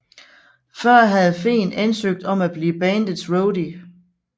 Før havde Fehn ansøgt om at blive bandets roadie